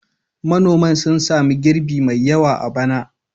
Manoman sun sami girbi mai yawa a bana.